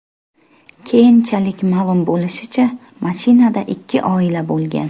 Keyinchalik ma’lum bo‘lishicha, mashinada ikki oila bo‘lgan.